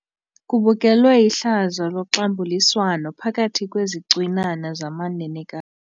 Kubukelwe ihlazo loxambuliswano phakathi kwezicwinana zamanenekazi.